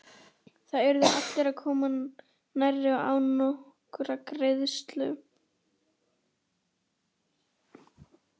Þar urðu allir að koma nærri og án nokkurrar greiðslu.